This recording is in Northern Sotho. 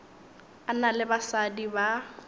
a na le basadi ba